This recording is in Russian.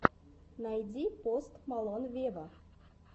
найди пост малон вево